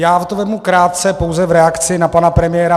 Já to vezmu krátce pouze v reakci na pana premiéra.